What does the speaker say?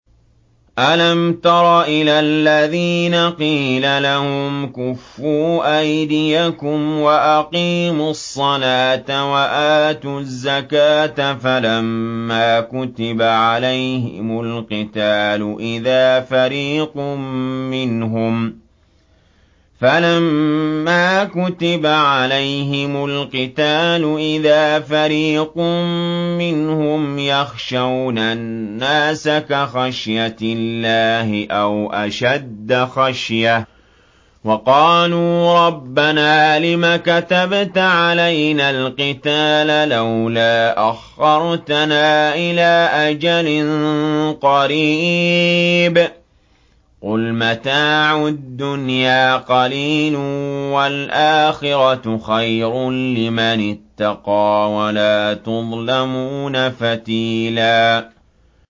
أَلَمْ تَرَ إِلَى الَّذِينَ قِيلَ لَهُمْ كُفُّوا أَيْدِيَكُمْ وَأَقِيمُوا الصَّلَاةَ وَآتُوا الزَّكَاةَ فَلَمَّا كُتِبَ عَلَيْهِمُ الْقِتَالُ إِذَا فَرِيقٌ مِّنْهُمْ يَخْشَوْنَ النَّاسَ كَخَشْيَةِ اللَّهِ أَوْ أَشَدَّ خَشْيَةً ۚ وَقَالُوا رَبَّنَا لِمَ كَتَبْتَ عَلَيْنَا الْقِتَالَ لَوْلَا أَخَّرْتَنَا إِلَىٰ أَجَلٍ قَرِيبٍ ۗ قُلْ مَتَاعُ الدُّنْيَا قَلِيلٌ وَالْآخِرَةُ خَيْرٌ لِّمَنِ اتَّقَىٰ وَلَا تُظْلَمُونَ فَتِيلًا